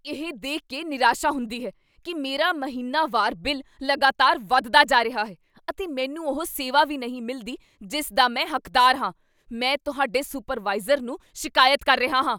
ਇਹ ਦੇਖ ਕੇ ਨਿਰਾਸ਼ਾ ਹੁੰਦੀ ਹੈ ਕੀ ਮੇਰਾ ਮਹੀਨਾਵਾਰ ਬਿੱਲ ਲਗਾਤਾਰ ਵਧਦਾ ਜਾ ਰਿਹਾ ਹੈ, ਅਤੇ ਮੈਨੂੰ ਉਹ ਸੇਵਾ ਵੀ ਨਹੀਂ ਮਿਲਦੀ ਜਿਸ ਦਾ ਮੈਂ ਹੱਕਦਾਰ ਹਾਂ। ਮੈਂ ਤੁਹਾਡੇ ਸੁਪਰਵਾਈਜ਼ਰ ਨੂੰ ਸ਼ਿਕਾਇਤ ਕਰ ਰਿਹਾ ਹਾਂ।